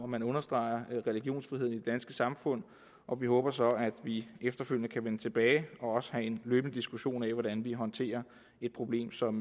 man understreger religionsfriheden i det danske samfund og vi håber så at vi efterfølgende kan vende tilbage og også få en løbende diskussion af hvordan vi håndterer et problem som